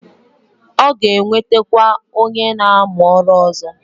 O ga-ewetekwa onye na amu oru ozo.